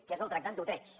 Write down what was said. que és el tractat d’utrecht